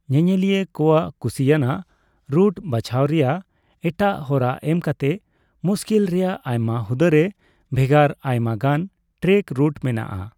ᱧᱮᱧᱮᱞᱤᱭᱟᱹ ᱠᱚᱣᱟᱜ ᱠᱩᱥᱤᱭᱟᱱᱟᱜ ᱨᱩᱴ ᱵᱟᱪᱷᱟᱣ ᱨᱮᱭᱟᱜ ᱮᱴᱟᱜ ᱦᱚᱨᱟ ᱮᱢᱠᱟᱛᱮ ᱢᱩᱥᱠᱤᱞ ᱨᱮᱭᱟᱜ ᱟᱭᱢᱟ ᱦᱩᱫᱟᱹ ᱨᱮ ᱵᱷᱮᱜᱟᱨ ᱟᱭᱢᱟᱜᱟᱱ ᱴᱨᱮᱠ ᱨᱩᱴ ᱢᱮᱱᱟᱜᱼᱟ ᱾